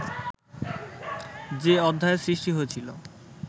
যে অধ্যায়ের সৃষ্টি হয়েছিল